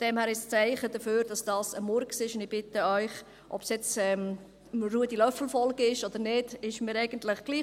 Von daher ist es ein Zeichen dafür, dass dies ein Murks ist, und ich bitte Sie – ob Sie jetzt Ruedi Löffel folgen oder nicht, ist mir eigentlich egal;